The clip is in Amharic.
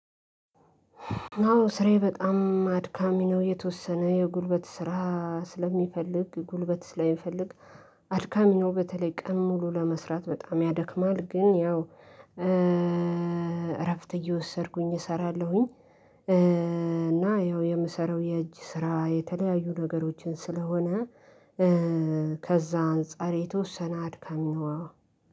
ናው ስራዬ በጣም አድካሚ ነው፤ የተወሰነ የጉልበት ስራ ስለሚፈልግ ጉልበት ስለሚፈልግ አድካሚ ነው በተለይ ቀን ሙሉ ለመስራት በጣም ያደክማል ግን ያው እረፍት እየወሰድኩኝ እሰራለሁኝ እና ያው የምሰራው የእጅ ስራ የተለያዩ ነገሮችን ስለሆነ ከዛ አንፃር የተወሰነ አድካሚ ነው።